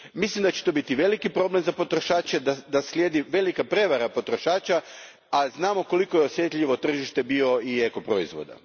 Mislim da će to biti velik problem za potrošače i da slijedi velika prijevara potrošača, a znamo koliko je osjetljivo tržište bioproizvoda i ekoproizvoda.